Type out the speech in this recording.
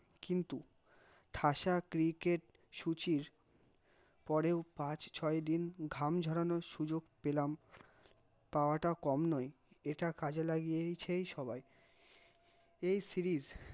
কিন্তু, ঠাসা cricket সুচির পরেও পাঁচ ছয়ে দিন ঘাম ঝোড়ানোর সুযোগ পেলাম, পাওয়া টা কম নয়, এটা কাজে লাগিয়েয়ছেই সবাই, এই series